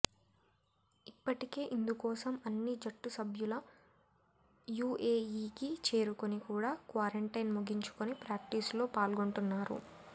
ఇప్పటికే ఇందుకోసం అన్ని జట్టు సభ్యులు యూఏఈ కి చేరుకొని కూడా క్వారంటైన్ ముగించుకొని ప్రాక్టీస్ లో పాల్గొంటున్నారు